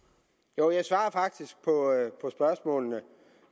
jo jeg svarer faktisk på spørgsmålene